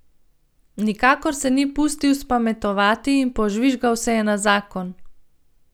Nikakor se ni pustil spametovati in požvižgal se je na zakon.